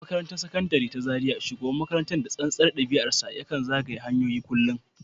A makarantar Sakandare ta Zariya, shugaban makarantar, da tsantsar ɗabi’arsa, ya kan zagaya hanyoyin kullum